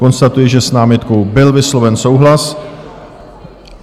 Konstatuji, že s námitkou byl vysloven souhlas.